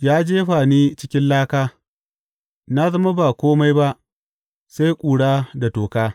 Ya jefa ni cikin laka, na zama ba kome ba sai ƙura da toka.